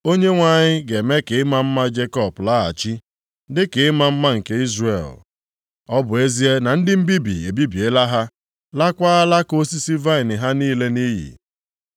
Onyenwe anyị ga-eme ka ịma mma Jekọb laghachi, dịka ịma mma nke Izrel ọ bụ ezie na ndị mbibi ebibiela ha, lakwaa alaka osisi vaịnị ha niile nʼiyi.